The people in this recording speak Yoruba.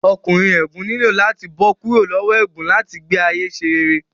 Ọkùnrin ègún nílò láti bó kúrò lowo ègún láti gbé ayé ṣe rere